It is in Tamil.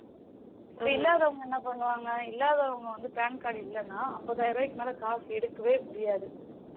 இல்லாதவங்க என்ன பண்ணுவாங்க? இல்லாதவங்க வந்து PAN இல்லனா அம்பதாயிர ரூபாக்கு மேல காசு எடுக்கவே முடியாது